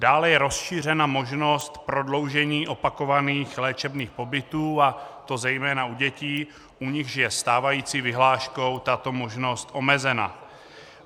Dále je rozšířena možnost prodloužení opakovaných léčebných pobytů, a to zejména u dětí, u nichž je stávající vyhláškou tato možnost omezena.